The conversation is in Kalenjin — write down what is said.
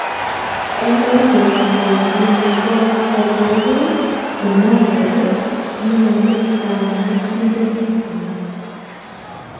Eng baruet ne gi meto kobaregei, komwae kole kiinyalili kanetindetnyi